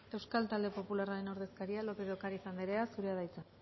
euskal talde popularraren ordezkaria lópez de ocariz anderea zurea da hitza